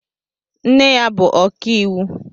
Nne ya bụ ọkàiwu.